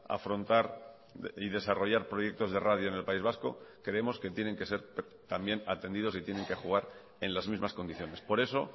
afrontar y desarrollar proyectos de radio en el país vasco creemos que tienen que ser también atendidos y tienen que jugar en las mismas condiciones por eso